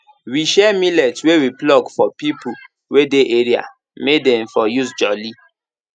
we share millet wey we pluck for people wey dey area may dem for use jolly